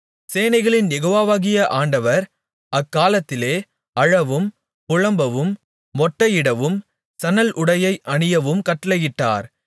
சேனைகளின் யெகோவாவாகிய ஆண்டவர் அக்காலத்திலே அழவும் புலம்பவும் மொட்டையிடவும் சணல்உடையை அணியவும் கட்டளையிட்டார்